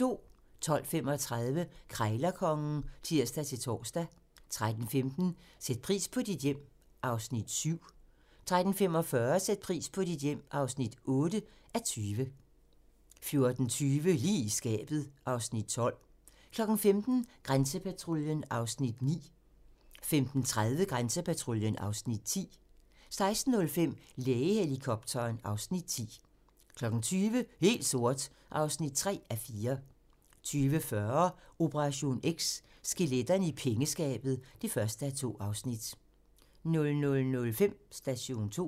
12:35: Krejlerkongen (tir-tor) 13:15: Sæt pris på dit hjem (7:20) 13:45: Sæt pris på dit hjem (8:20) 14:20: Lige i skabet (Afs. 12) 15:00: Grænsepatruljen (Afs. 9) 15:30: Grænsepatruljen (Afs. 10) 16:05: Lægehelikopteren (Afs. 10) 20:00: Helt sort (3:4) 20:40: Operation X: Skeletterne i pengeskabet (1:2) 00:05: Station 2